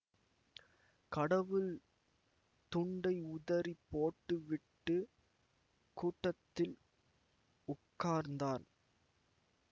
கடவுள் துண்டை உதறிப் போட்டுவிட்டுக் கூட்டத்தில் உட்கார்ந்தார்